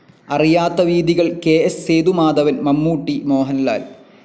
അറിയാത്ത വീഥികൾ കെ.എസ്സ്. സേതുമാധവൻ മമ്മൂട്ടി, മോഹൻലാൽ